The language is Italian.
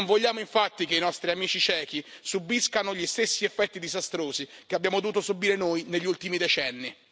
Non vogliamo infatti che i nostri amici cechi subiscano gli stessi effetti disastrosi che abbiamo dovuto subire noi negli ultimi decenni.